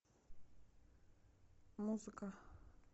музыка